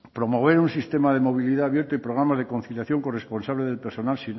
promover un sistema de movilidad abierto y programa de conciliación corresponsable del personal